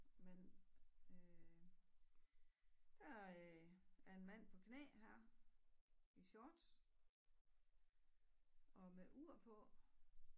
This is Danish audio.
Men øh der er en mand på knæ her i shorts og med ur på